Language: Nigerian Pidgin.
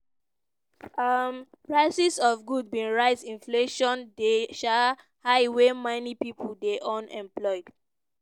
um prices of goods bin rise inflation dey um high wey many pipo dey unemployed.